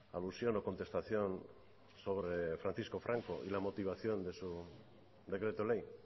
alusión o contestación sobre francisco franco y la motivación de su decreto ley